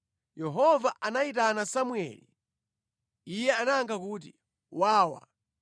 Yehova anayitana Samueli. Iye anayankha kuti, “Wawa.”